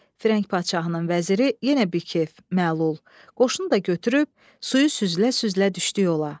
Firəng padşahının vəziri yenə bikef, məlul, qoşunu da götürüb suyu süzülə-süzülə düşdü yola.